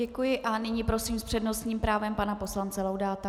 Děkuji a nyní prosím s přednostním právem pana poslance Laudáta.